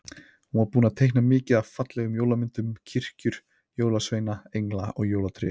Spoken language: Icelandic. Hún var búin að teikna mikið af fallegum jólamyndum- kirkjur, jólasveina, engla og jólatré.